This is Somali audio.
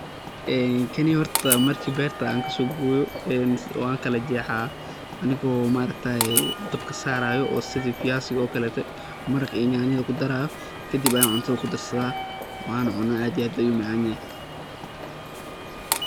een kaney horta marki berta an kaaso goyo een wan kala jexaa anigo oo ma aragtaye dabka saarayo oo sidi fiyasiga oo kalete maraqa iyo nyaanyada kudarayo kadib ayan cuntada kudarsada wana cunaa aad iyo aad ayu umacaan yahay